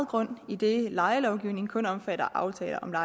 grund idet lejelovgivningen kun omfatter aftaler om leje